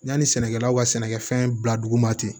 Yanni sɛnɛkɛlaw ka sɛnɛkɛfɛn bila dugu ma ten